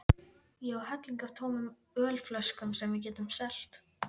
Ég á helling af tómum ölflöskum sem við getum selt!